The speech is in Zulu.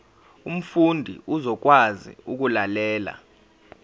umfundi uzokwazi ukulalela